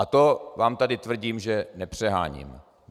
A to vám tady tvrdím, že nepřeháním.